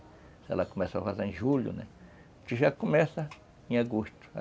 Se ela começa a vazar em julho, né, a gente já começa em agosto.